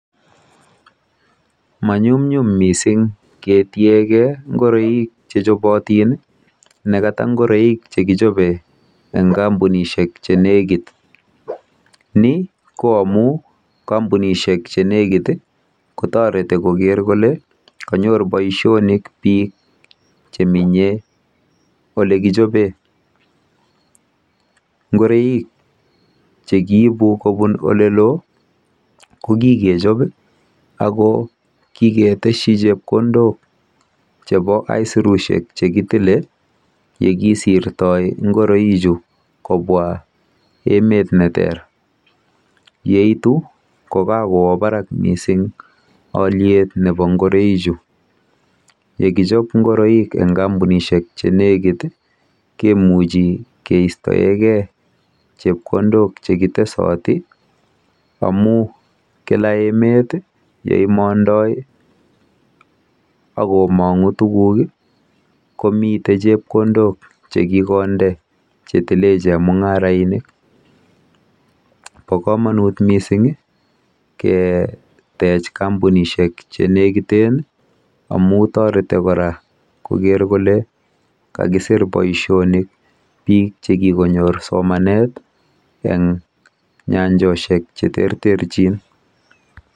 Manyumnyum mising ketiegei ngoroik chechobotin nekata ngoroik chekichobe eng kampunishek che nekit. Ni ko amu kampunishek chenekit kotoreti koker kole konyor boisionik biik cheminye olekijobe. Ngoroik chekiibu kobun oleloo koikikejob ako kiketeshi chepkondok chebo aisirushek chekitile yekisirtoi ngoichu kobwa emet neter. Yeitu ko kokowo barak mising olyet nebo ngoroichu. Yekichop ngoroik eng kampunishek chenekit kemuchi keistoekei chepkondok chekitesoti amu kila emet yeimondoi akomong'u tuguk komite chepkondok chekikonde chetile chemung'arainik. Bo komonut mising ketech kampunishek chenekiten amu toreti kora koker kole kakisir boisionik biik chekikonyor somanet eng nyanjoshek cheterterchin.